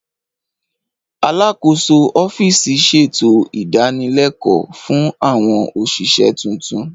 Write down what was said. Alákòóso ọ́fíìsì ṣètò ìdanilẹ́kọ̀ọ́ fún àwọn òṣìṣẹ́ tuntun